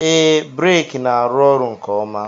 Ee, breeki na-arụ ọrụ nke ọma.